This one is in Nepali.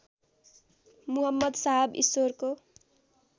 मुहम्मद साहब ईश्वरको